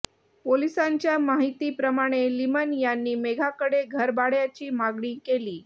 पोलिसांच्या माहितीप्रमाणे लिमण यांनी मेघाकडे घरभाड्याची मागणी केली